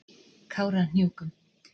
Kárahnjúkum